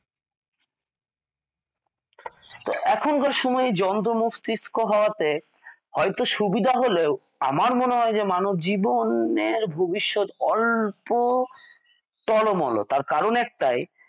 এখনকার সময়ে যন্ত্র মস্তিষ্ক হওয়াতে হয়ত সুবিধা হলেও আমার মনে হয় যে মানবজীবনের ভবিষ্যৎ অল্প টলমল তার কারণ একটাই